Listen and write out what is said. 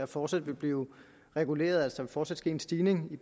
fortsat vil blive reguleret altså fortsat ske en stigning i